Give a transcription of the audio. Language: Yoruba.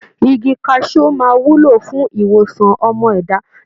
Igi kaṣú máa wúlò fún ìwòsàn ọmọ ẹ̀dá.